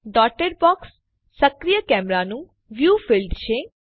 dotted box સક્રિય કેમેરાનું view field છે